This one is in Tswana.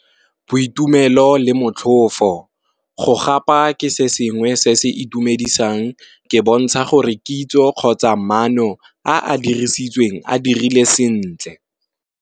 Boitumelo le motlhofo, go gapa ke se sengwe se se itumedisang ke bontsha gore kitso kgotsa maano a dirisitsweng a dirile sentle.